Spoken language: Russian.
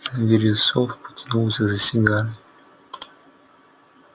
вересов потянулся за сигарой